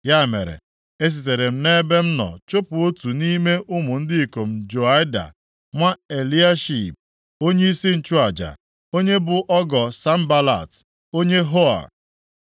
Ya mere, esitere m nʼebe m nọ chụpụ otu nʼime ụmụ ndị ikom Joiada, nwa Eliashib, onyeisi nchụaja, onye bụ ọgọ Sanbalat onye Hor.